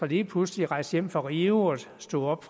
lige pludselig at rejse hjem fra rio og stå op